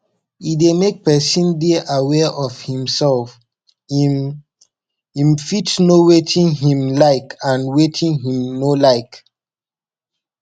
e de make persin de aware of imself im im fit know wetin im like and wetin im no like